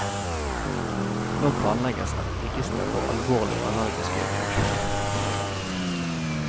Nå planlegges et register for alvorlige allergiske reaksjoner.